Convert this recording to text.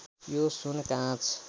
यो सुन काँच